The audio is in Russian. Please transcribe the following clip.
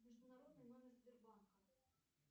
международный номер сбербанка